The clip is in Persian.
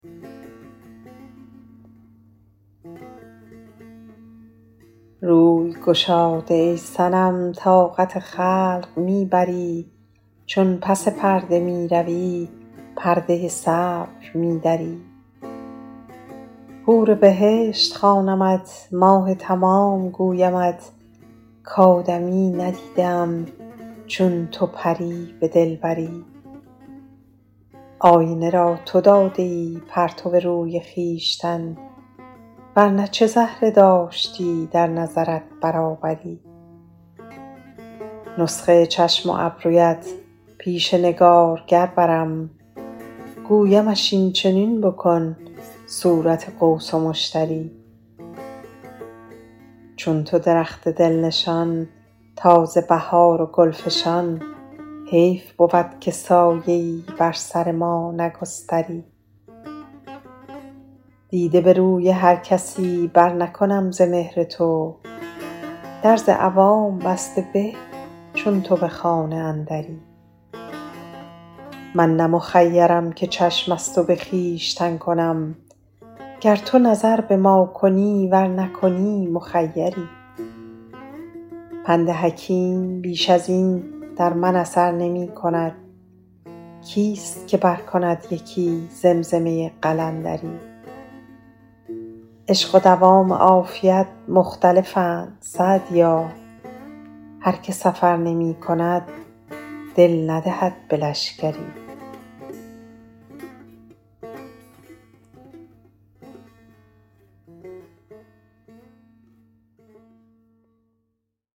روی گشاده ای صنم طاقت خلق می بری چون پس پرده می روی پرده صبر می دری حور بهشت خوانمت ماه تمام گویمت کآدمیی ندیده ام چون تو پری به دلبری آینه را تو داده ای پرتو روی خویشتن ور نه چه زهره داشتی در نظرت برابری نسخه چشم و ابرویت پیش نگارگر برم گویمش این چنین بکن صورت قوس و مشتری چون تو درخت دل نشان تازه بهار و گل فشان حیف بود که سایه ای بر سر ما نگستری دیده به روی هر کسی برنکنم ز مهر تو در ز عوام بسته به چون تو به خانه اندری من نه مخیرم که چشم از تو به خویشتن کنم گر تو نظر به ما کنی ور نکنی مخیری پند حکیم بیش از این در من اثر نمی کند کیست که برکند یکی زمزمه قلندری عشق و دوام عافیت مختلفند سعدیا هر که سفر نمی کند دل ندهد به لشکری